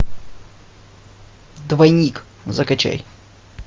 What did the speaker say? двойник закачай